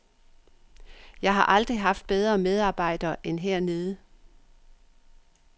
Jeg har aldrig haft bedre medarbejdre end hernede.